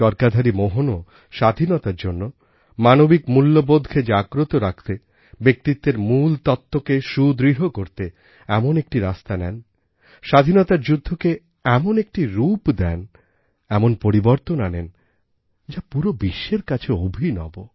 চরকাধারী মোহনও স্বাধীনতার জন্য মানবিক মূল্যবোধকে জাগ্রত রাখতে ব্যক্তিত্বের মূল তত্বকে সুদৃঢ় করতে এমন একটি রাস্তা নেন স্বাধীনতার যুদ্ধকে এমন একটি রূপ দেন এমন পরিবর্তন আনেন যা পুরো বিশ্বের কাছে অভিনব